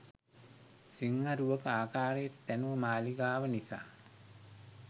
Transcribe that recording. සිංහ රුවක ආකාරයට තැනූ මාළිගාව නිසා